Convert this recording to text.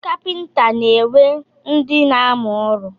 Ndị kapịnta na-enwe ndị na-amụ ọrụ.